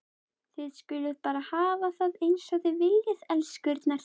Þið skuluð bara hafa það eins og þið viljið, elskurnar!